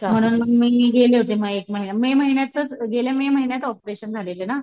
म्हणून मी गेले होते एक महिना में महिन्यातच गेल्या में महिन्यांतच ऑपरेशन झालेलं ना.